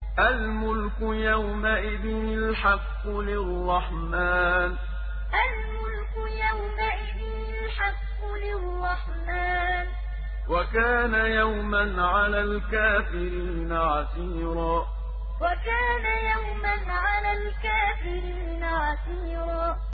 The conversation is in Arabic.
الْمُلْكُ يَوْمَئِذٍ الْحَقُّ لِلرَّحْمَٰنِ ۚ وَكَانَ يَوْمًا عَلَى الْكَافِرِينَ عَسِيرًا الْمُلْكُ يَوْمَئِذٍ الْحَقُّ لِلرَّحْمَٰنِ ۚ وَكَانَ يَوْمًا عَلَى الْكَافِرِينَ عَسِيرًا